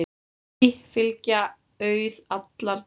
Ei fylgja auð allar dygðir.